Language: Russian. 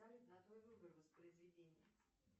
салют на твой выбор воспроизведение